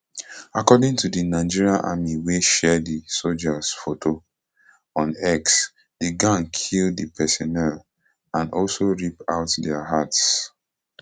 according to di nigerian army wey share di sojas photo on x di gang kill di personnel and also rip out dia hearts